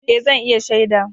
Eh, zan iya shaida.